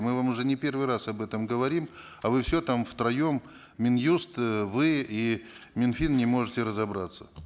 мы вам уже не первый раз об этом говорим а вы все там втроем мин юст э вы и мин фин не можете разобраться